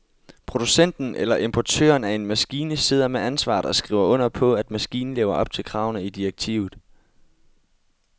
Producenten eller importøren af en maskine sidder med ansvaret og skriver under på, at maskinen lever op til kravene i direktivet.